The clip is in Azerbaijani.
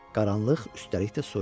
Qaranlıq üstəlik də soyuq.